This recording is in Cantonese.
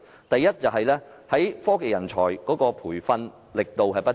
第一，科技人才培訓力度不足。